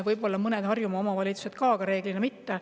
Võib-olla on ka mõnes Harjumaa omavalitsuses, aga reeglina mitte.